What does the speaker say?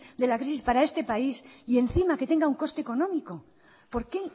de la crisis para este país y encima que tenga un coste económico por qué